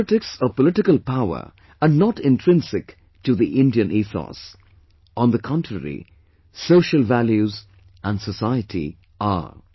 Politics or Political Power are not intrinsic to the Indian ethos; on the contrary social values and society are